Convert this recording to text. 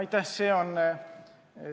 Aitäh!